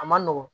A ma nɔgɔn